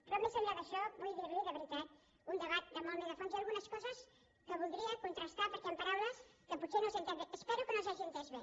però més enllà d’això vull dir li de veritat un debat molt més a fons hi ha algunes coses que voldria contrastar perquè hi han paraules que potser no les he enteses bé espero que no les hagi enteses bé